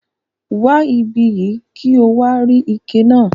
Wa ibiyi ki o wa rí ike náà.